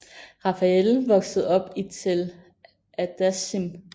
Rafael voksede op i Tel Adashim